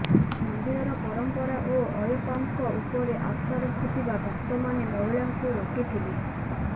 ମନ୍ଦିରର ପରମ୍ପରା ଓ ଅୟପ୍ପାଙ୍କ ଉପରେ ଆସ୍ଥା ରଖୁଥିବା ଭକ୍ତମାନେ ମହିଳାଙ୍କୁ ରୋକିଥିଲେ